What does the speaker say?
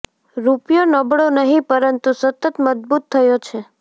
રૂપિયો નબળો નહિ પરંતુ સતત મજબૂત થયો છે